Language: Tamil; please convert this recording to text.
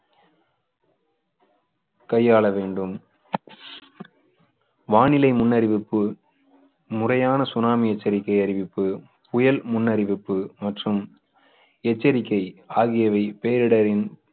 கையாள வேண்டும் வானிலை முன்னறிவிப்பு முறையான சுனாமி எச்சரிக்கை அறிவிப்பு புயல் முன்னறிவிப்பு மற்றும் எச்சரிக்கை ஆகியவை பேரிடரின்